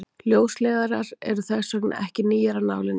ljósleiðarar eru þess vegna ekki nýir af nálinni